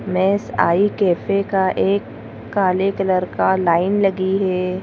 Mess आई cafe का एक काले कलर का लाइन लगी है।